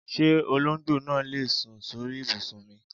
Ṣé olóńgbò náà lè sùn sóri ìbùsùn mi?